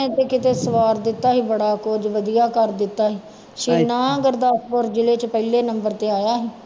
ਨੇ ਤੇ ਕਿਤੇ ਸਵਾਰ ਦਿੱਤਾ ਸੀ ਬੜਾ ਕੁੱਝ ਵਧੀਆ ਕਰ ਦਿੱਤਾ ਸੀ ਸੀਨਾ ਗੁਰਦਾਸਪੁਰ ਜ਼ਿਲ੍ਹੇ ਚ ਪਹਿਲੇ number ਤੇ ਆਇਆ